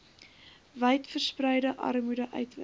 wydverspreide armoede uitwis